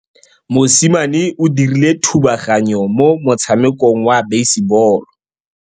Mosimane o dirile thubaganyô mo motshamekong wa basebôlô.